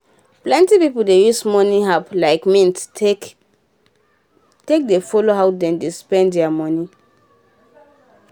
plenty pipu dey use money app like mint take dey follow how dem dey spend dia money.